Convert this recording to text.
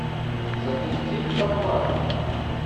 запусти в подвале